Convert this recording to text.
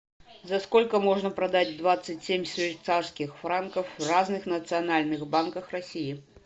за сколько можно продать двадцать семь швейцарских франков в разных национальных банках россии